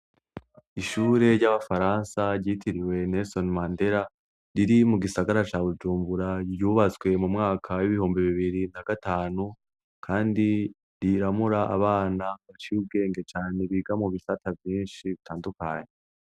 Ishure ry'abafaransa ryitiriwe Nerisoni Mandera, riri mu gisagara ca Bujumbura ryubatswe mu mwaka w'ibihumbi bibiri na gatanu, kandi riramura abana baciyubwenge cane biga mu bisata byinshi bitandukanye.